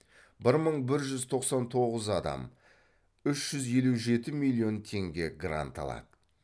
бір мың бір жүз тоқсан тоғыз адам үш жүз елу жеті миллион теңге грант алады